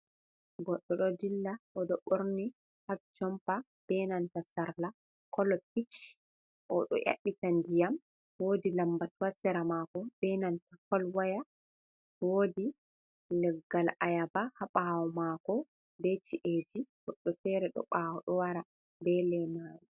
Goɗɗo ɗo dilla o do borni habjompa benanta sarla kolopich o do yabbitan diyam wodi lambat wasera mako benanta folwaya wodi leggal ayaba habawo mako be ci’eji goddo fere do bawo do wara be le mawi.